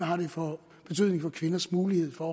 har det for kvinders mulighed for